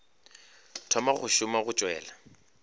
thoma go šoma o tšwela